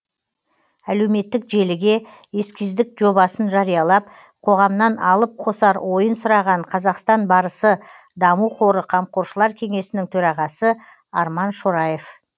әлеуметтік желіге эскиздік жобасын жариялап қоғамнан алып қосар ойын сұраған қазақстан барысы даму қоры қамқоршылар кеңесінің төрағасы арман шораев